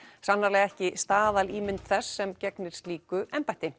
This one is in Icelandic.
sannarlega ekki staðalímynd þess sem gegnir slíku embætti